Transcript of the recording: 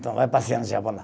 Então, vai passear no Japão lá.